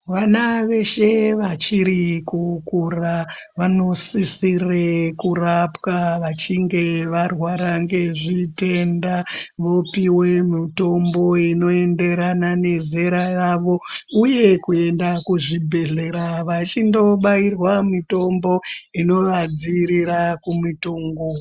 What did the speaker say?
Vana veshe vachiri kukura vanosisire kurapwa vachinge varwara ngezvitenda vopiwe mitombo inoenderana nezera ravo uye kuenda kuzvibhedhlera vachindobairwa mitombo inovadziirira kumitongo.